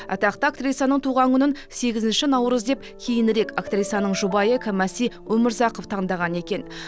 атақты актрисаның туған күнін сегізінші наурыз деп кейінірек актрисаның жұбайы кәмәси өмірзақов таңдаған екен